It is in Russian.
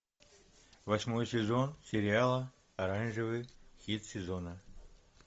восьмой сезон сериала оранжевый хит сезона